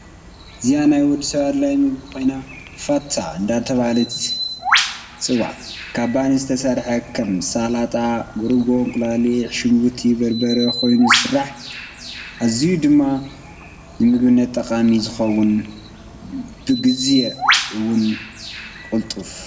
አዚናይ ወደሰብ ኣድላይ ምግብ ኮይኑ ፋታ እዳተበሃለ ይፅዋዕ ካብ ባኒ ዝተሰርሐ ከም፣ ሰላጣ፣ ርጎኦ፣ እንቋቆሖ፣ ሽግርቲ፣ በርበረ፣ ኮይኑ ይስራሕ ኣዝዩ ድማ ንምግብነት ጠቓሚ ይከውን ብግዝየ እውን ቁልጥፍ።